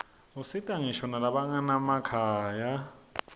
usita ngisho nalabanganamakhaya